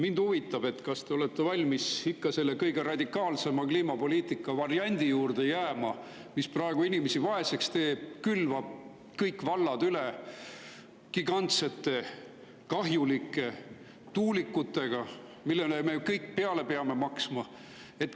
Mind huvitab, kas te olete valmis jääma ikka selle kõige radikaalsema kliimapoliitika variandi juurde, mis praegu inimesi vaeseks teeb, külvama kõik vallad üle gigantsete kahjulike tuulikutega, millele me kõik peame peale maksma.